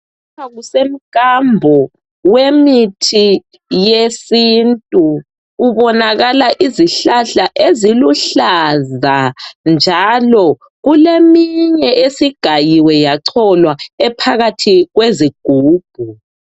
Lapha kusemkambo wemithi yesintu. Kubonakala izihlahla eziluhlaza, njalo kuleminye esigayiwe, yacholwa. Ephakathi kwezigubhu.